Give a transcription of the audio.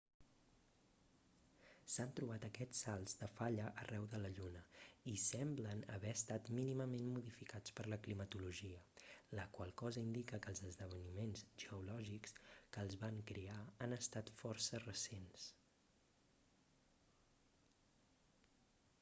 s'han trobat aquests salts de falla arreu de la lluna i semblen haver estat mínimament modificats per la climatologia la qual cosa indica que els esdeveniments geològics que els van crear han estat força recents